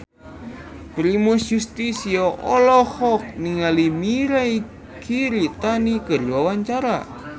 Primus Yustisio olohok ningali Mirei Kiritani keur diwawancara